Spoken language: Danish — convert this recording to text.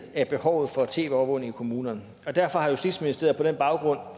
af behovet for tv overvågning i kommunerne og derfor har justitsministeriet på baggrund